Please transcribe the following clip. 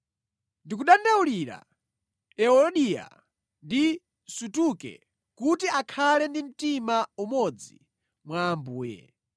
Ndikudandaulira Euodiya ndi Suntuke kuti akhale ndi mtima umodzi mwa Ambuye.